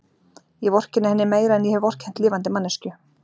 Ég vorkenni henni meira en ég hef vorkennt lifandi manneskju.